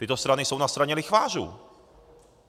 Tyto strany jsou na straně lichvářů.